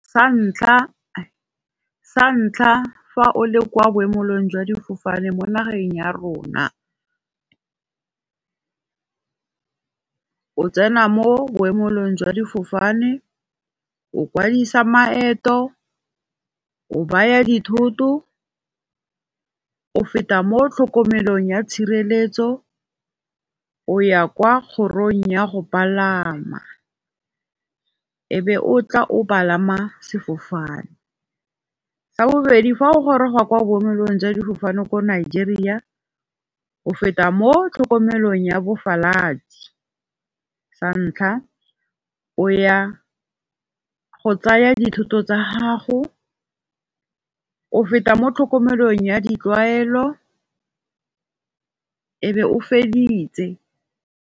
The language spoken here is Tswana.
Sa ntlha fa o le kwa boemelong jwa difofane mo nageng ya rona, O tsena mo boemelong jwa difofane, o kwadisa maeto, o baya dithoto, o feta mo tlhokomelong ya tshireletso, o ya kwa kgorong ya go palama. E be o tla o palama sefofane, sa bobedi fa o goroga kwa boemelong jwa difofane ko Nigeria. O feta mo tlhokomelong ya bophasalatsi, sa ntlha o ya go tsaya dithoto tsa gago, o feta mo tlhokomelong ya ditlwaelo, e be o feditse.